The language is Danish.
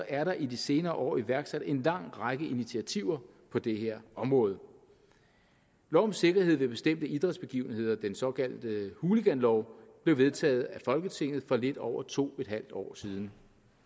er der i de senere år iværksat en lang række initiativer på det her område lov om sikkerhed ved bestemte idrætsbegivenheder den såkaldte hooliganlov blev vedtaget af folketinget for lidt over to en halv år siden